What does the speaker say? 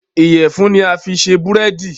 iyẹfun ni a fí ṣe Búrẹ́di.